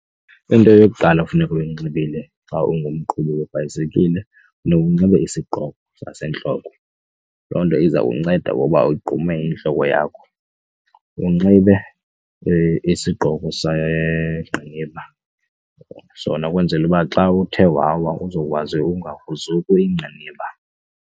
Into yokuqala okufuneka uyinxibile xa ungumqhubi webhayisikile funeka unxibe isigqoko sasentloko, loo nto iza kunceda ngoba ugqume intloko yakho. Unxibe isigqoko segqiniba, sona ukwenzela uba xa uthe wawa uzokwazi ungagruzuki iingqiniba.